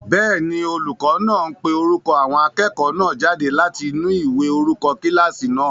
Bẹ́ẹ̀ni, olùkọ́ náà ń pe orúkọ àwọn akẹ́kọ̀ọ́ náà jáde láti inú ìwé orúkọ kílásì náà